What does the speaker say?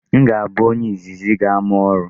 M ga-abụ onye izizi ga-ama ọrụ.